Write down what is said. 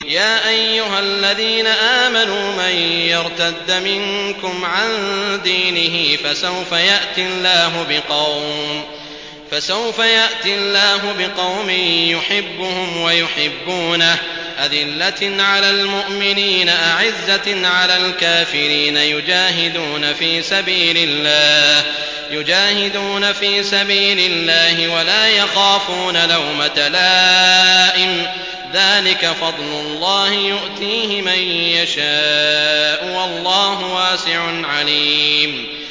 يَا أَيُّهَا الَّذِينَ آمَنُوا مَن يَرْتَدَّ مِنكُمْ عَن دِينِهِ فَسَوْفَ يَأْتِي اللَّهُ بِقَوْمٍ يُحِبُّهُمْ وَيُحِبُّونَهُ أَذِلَّةٍ عَلَى الْمُؤْمِنِينَ أَعِزَّةٍ عَلَى الْكَافِرِينَ يُجَاهِدُونَ فِي سَبِيلِ اللَّهِ وَلَا يَخَافُونَ لَوْمَةَ لَائِمٍ ۚ ذَٰلِكَ فَضْلُ اللَّهِ يُؤْتِيهِ مَن يَشَاءُ ۚ وَاللَّهُ وَاسِعٌ عَلِيمٌ